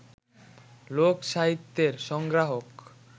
লোক-সাহিত্যের সংগ্রাহক